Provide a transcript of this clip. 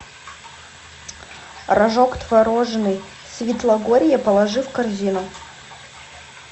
рожок творожный свитлогорье положи в корзину